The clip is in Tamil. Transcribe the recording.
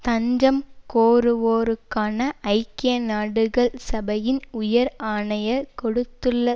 தஞ்சம் கோருவோருக்கான ஐக்கிய நாடுகள் சபையின் உயர் ஆணையர் கொடுத்துள்ள